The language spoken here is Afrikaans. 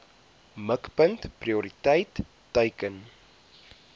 mikpunt prioriteit teiken